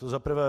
To za prvé.